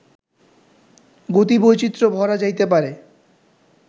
গতিবৈচিত্র্য ভরা যাইতে পারে